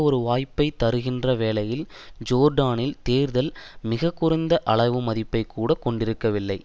ஒரு வாய்ப்பதைத் தருகின்ற வேளையில் ஜோர்டானில் தேர்தல் மிக குறைந்த அளவு மதிப்பை கூட கொண்டிருக்கவில்லை